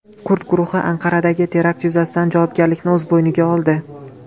Kurd guruhi Anqaradagi terakt yuzasidan javobgarlikni o‘z bo‘yniga oldi.